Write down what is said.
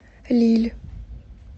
лилль